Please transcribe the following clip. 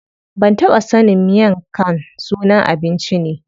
Ban taɓa sanin miang khan sunan abinci ne.